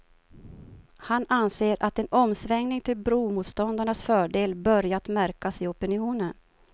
Han anser att en omsvängning till bromotståndarnas fördel börjat märkas i opinionen.